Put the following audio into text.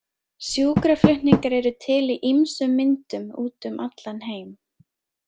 Sjúkraflutningar eru til í ýmsum myndum úti um allan heim.